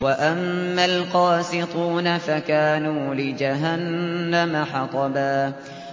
وَأَمَّا الْقَاسِطُونَ فَكَانُوا لِجَهَنَّمَ حَطَبًا